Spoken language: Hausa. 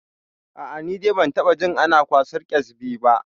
A'a, ni dai ban taɓa jin ana kwasan ƙyasbi ba.